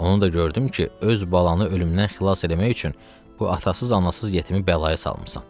Onu da gördüm ki, öz balanı ölümdən xilas eləmək üçün bu atasız, anasız yetimi bəlaya salmısan.